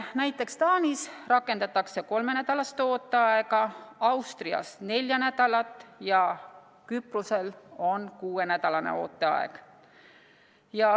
Näiteks Taanis rakendatakse kolmenädalast ooteaega, Austrias neli nädalat ja Küprosel on kuuenädalane ooteaeg.